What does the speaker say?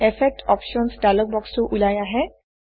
effect options dialog বক্সটো ওলাই আহে